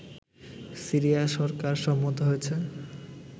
Syria সরকার সম্মত হয়েছে